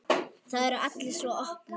Það eru allir svo opnir.